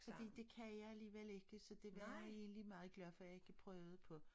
Fordi det kan jeg alligevel ikke så det var jeg egentlig meget glad for jeg ikke prøvede på